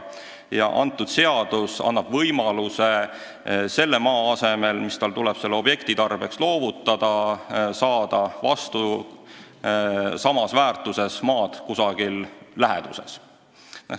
Ja uus seadus annab võimaluse saada selle maa asemele, mis tal tuleb mingi objekti tarbeks loovutada, samas väärtuses maad kusagil läheduses.